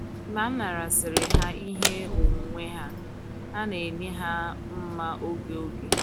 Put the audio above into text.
Mgbe a narasịịrị ha ihe onwunwe ha, a na - enye ha mma òge òge